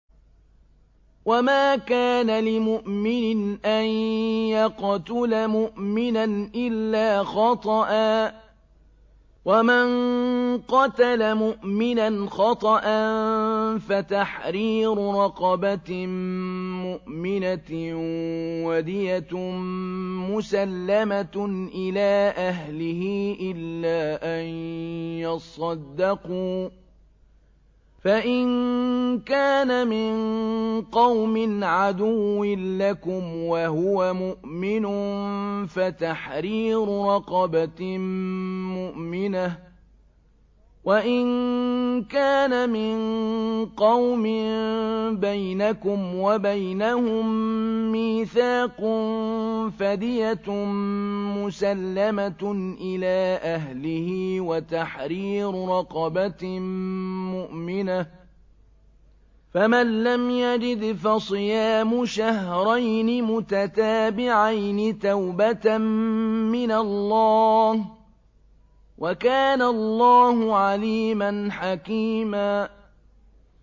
وَمَا كَانَ لِمُؤْمِنٍ أَن يَقْتُلَ مُؤْمِنًا إِلَّا خَطَأً ۚ وَمَن قَتَلَ مُؤْمِنًا خَطَأً فَتَحْرِيرُ رَقَبَةٍ مُّؤْمِنَةٍ وَدِيَةٌ مُّسَلَّمَةٌ إِلَىٰ أَهْلِهِ إِلَّا أَن يَصَّدَّقُوا ۚ فَإِن كَانَ مِن قَوْمٍ عَدُوٍّ لَّكُمْ وَهُوَ مُؤْمِنٌ فَتَحْرِيرُ رَقَبَةٍ مُّؤْمِنَةٍ ۖ وَإِن كَانَ مِن قَوْمٍ بَيْنَكُمْ وَبَيْنَهُم مِّيثَاقٌ فَدِيَةٌ مُّسَلَّمَةٌ إِلَىٰ أَهْلِهِ وَتَحْرِيرُ رَقَبَةٍ مُّؤْمِنَةٍ ۖ فَمَن لَّمْ يَجِدْ فَصِيَامُ شَهْرَيْنِ مُتَتَابِعَيْنِ تَوْبَةً مِّنَ اللَّهِ ۗ وَكَانَ اللَّهُ عَلِيمًا حَكِيمًا